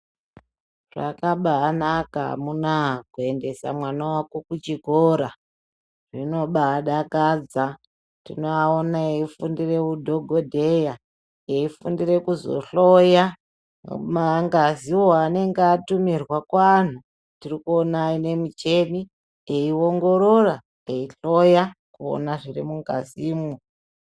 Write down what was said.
Zvakanaka amuna kuendesa mwana wako kuchikora zvibadakadza tinoona eifundire udhokodheya, eifundire kuzohloya mangaziwo anenge atumirwa kuanhu, tirikuina aine micheni eiongorora, eiona zviri mungazimwo.